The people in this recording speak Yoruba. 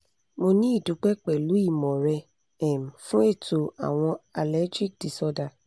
mo ni idupe pẹ̀lú ìmọ̀ rẹ um fún ètò àwọn allergic disorder